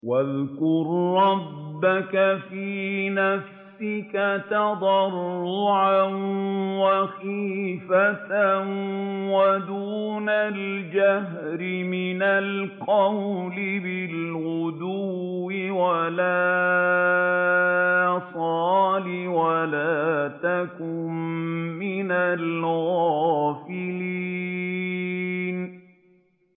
وَاذْكُر رَّبَّكَ فِي نَفْسِكَ تَضَرُّعًا وَخِيفَةً وَدُونَ الْجَهْرِ مِنَ الْقَوْلِ بِالْغُدُوِّ وَالْآصَالِ وَلَا تَكُن مِّنَ الْغَافِلِينَ